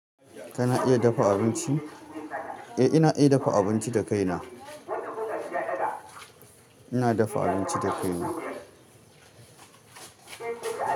Kana iya dafa abinci? Eh ina iya dafa abinci da kaina. Ina dafa abinci da kaina.